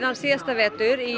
síðasta vetur í